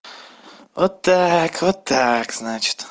вот так вот так значит